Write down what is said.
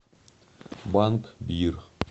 банк бир